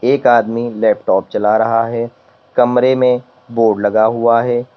एक आदमी लैपटॉप चला रहा है कमरे में बोर्ड लगा हुआ है।